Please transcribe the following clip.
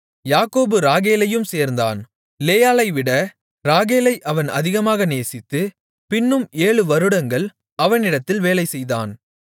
யாக்கோபு ராகேலையும் சேர்ந்தான் லேயாளைவிட ராகேலை அவன் அதிகமாக நேசித்து பின்னும் ஏழு வருடங்கள் அவனிடத்தில் வேலை செய்தான்